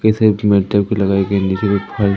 नीचे मे फल--